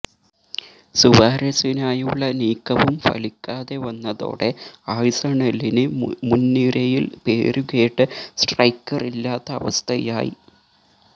സുവാരസിനായുള്ള നീക്കവും ഫലിക്കാതെ വന്നതോടെ ആഴ്സണലിന് മുന്നിരയില് പേരുകേട്ട സ്ട്രൈക്കറില്ലാത്ത അവസ്ഥയായി